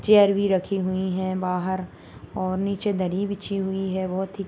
chair भी रखी हुई है बाहर और नीचे दरी बिछी हुई है बहुत ही --